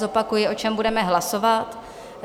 Zopakuji, o čem budeme hlasovat.